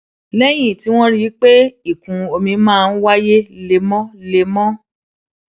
léyìn tí wón rí i pé ìkún omi máa ń wáyé lemólemó